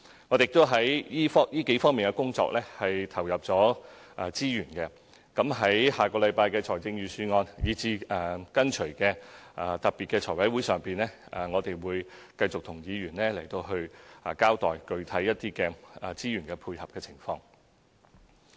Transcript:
我們已在這數方面的工作投入資源，在下星期的財政預算案以至隨後的特別財務委員會會議上，我們會繼續與議員交代具體的資源配合情況。